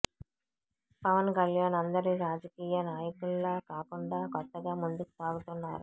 పవన్ కళ్యాణ్ అందరి రాజకీయ నాయకుల్లా కాకుండా కొత్తగా ముందుకు సాగుతున్నారు